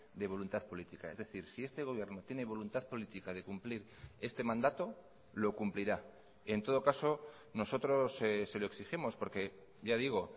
de voluntad política es decir si este gobierno tiene voluntad política de cumplir este mandato lo cumplirá en todo caso nosotros se lo exigimos porque ya digo